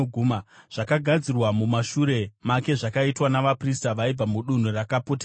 Zvakagadzirwa mumashure make zvakaitwa navaprista vaibva mudunhu rakapoteredza.